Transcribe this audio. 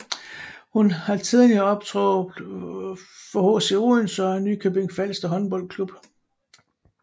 Hun har tidligere optrådt for HC Odense og Nykøbing Falster Håndboldklub